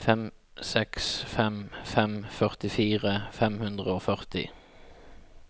fem seks fem fem førtifire fem hundre og førti